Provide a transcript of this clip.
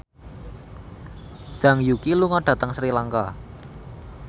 Zhang Yuqi lunga dhateng Sri Lanka